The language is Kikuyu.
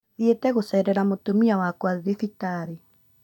Thiete gũceerera mũtumia wakwa thibitarĩ